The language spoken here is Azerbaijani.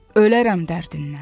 Ölərəm dərdindən.